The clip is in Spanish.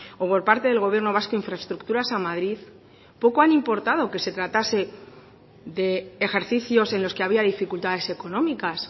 o por parte del gobierno vasco infraestructuras a madrid poco han importado que se tratase de ejercicios en los que había dificultades económicas